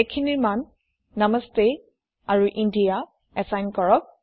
এইখিনিৰ মান নামাস্তে আৰু ইণ্ডিয়া এচাইন কৰক